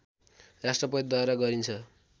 राष्‍ट्रपतिद्वारा गरिन्छ